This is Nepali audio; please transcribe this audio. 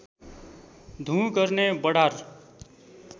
धुँ गर्ने वडार